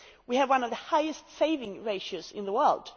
We have one of the highest savings ratios in the world.